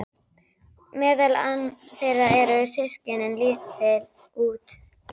Meðal þeirra eru systkini- lítill, úteygur